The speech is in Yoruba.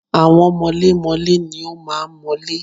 Àwọn mọlémọlé ni ó máa ń mọ́lé.